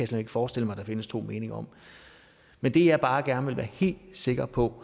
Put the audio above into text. slet ikke forestille mig der findes to meninger om men det jeg bare gerne vil være helt sikker på